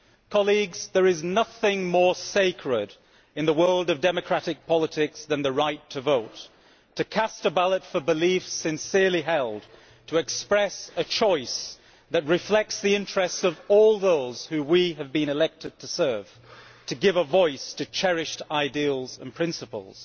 Colleagues, there is nothing more sacred in the world of democratic politics than the right to vote to cast a ballot for beliefs sincerely held, to express a choice that reflects the interests of all those who we have been elected to serve, to give a voice to cherished ideals and principles.